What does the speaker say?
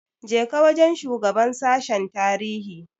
Je ka wajen shugaban sashen tarihi!